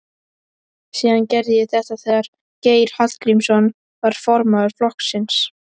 Síðast gerði ég þetta þegar Geir Hallgrímsson var formaður flokksins.